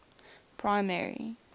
primary